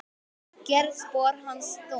Gerir spor hans þung.